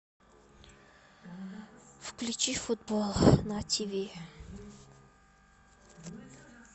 включи футбол на ти ви